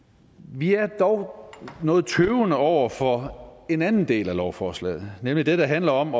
vi er dog noget tøvende over for en anden del af lovforslaget nemlig det der handler om